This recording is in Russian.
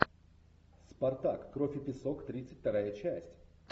спартак кровь и песок тридцать вторая часть